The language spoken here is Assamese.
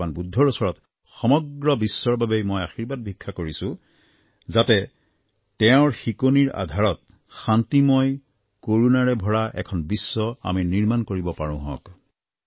ভগবান বুদ্ধৰ ওচৰত সমগ্ৰ বিশ্বৰ বাবেই মই আশীৰ্বাদ ভিক্ষা কৰিছোঁ যাতে তেওঁৰ শিকনিৰ আধাৰত শান্তিময় কৰুণাৰে ভৰা এখন বিশ্ব আমি নিৰ্মাণ কৰিব পাৰোঁহক